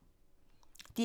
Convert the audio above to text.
DR1